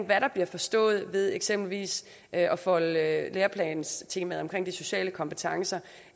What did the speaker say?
hvad der bliver forstået ved eksempelvis at at folde læreplanstemaerne om de sociale kompetencer og